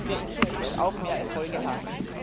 Dann werden wir in Zukunft auch mehr Erfolge haben.